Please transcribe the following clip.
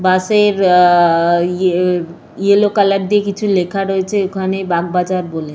বাস -এর আ আ আ ইয়েলো কালার দিয়ে কিছু লেখা রয়েছে ওখানে বাগবাজার বলে।